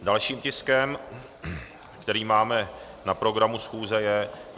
Dalším tiskem, který máme na programu schůze, je